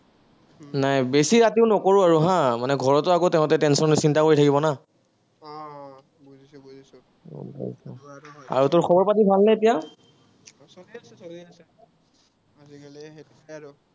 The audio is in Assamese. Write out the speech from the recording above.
নাই বেছি ৰাতিও নকৰো আৰু হা, মানে ঘৰতো আকৌ তাঁহাতে tension লৈ চিন্তা কৰি থাকিব না। আৰু তোৰ খবৰ-পাতি ভালনে এতিয়া